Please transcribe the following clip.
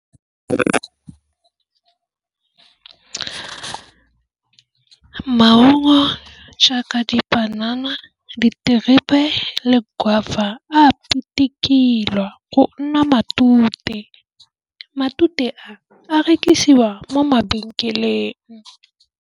Ke maungo jaaka dipanana, diterebe le guava a pitikilwa go nna matute. Matute a rekisiwa mo mabenkeleng.